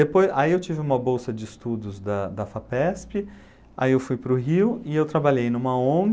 Depois, aí eu tive uma bolsa de estudos da da Fapesp, aí eu fui para o Rio e eu trabalhei numa Ong,